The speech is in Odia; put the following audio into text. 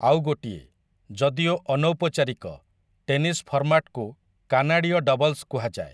ଆଉ ଗୋଟିଏ, ଯଦିଓ ଅନୌପଚାରିକ, ଟେନିସ୍ ଫର୍ମାଟକୁ କାନାଡୀୟ ଡବଲ୍ସ କୁହାଯାଏ ।